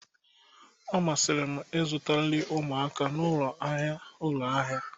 ọ masịrị m ịzụta nri ụmụaka n'ụlọ ahịa ụlọ ahịa